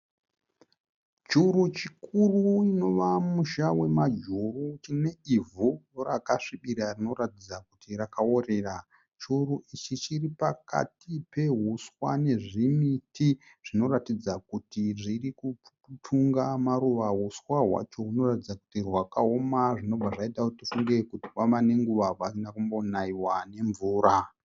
Churu chikuru inova musha wamajuru chine ivhu rakasvibira rinoratidza kuti rakaworera. Churu ichi chiri pakati peuswa nezvimiti zvinoratidza kuti zviri kutunga maruva. Uswa hwacho hunoratidza kuti rwakaoma zvinobva zvaita kuti tifunge kuti pava nenguva pasina kumbonaiwa nemvura.